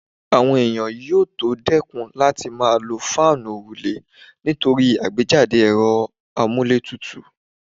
Àwọn èèyàn yóò tó dẹ́kùn láti máa lo fáànù òrùlé nítorí àgbéjáde ẹ̀rọ amúlétutù